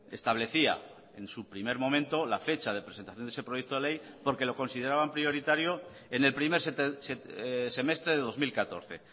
establecía en su primer momento la fecha de presentación de ese proyecto de ley porque lo consideraban prioritario en el primer semestre de dos mil catorce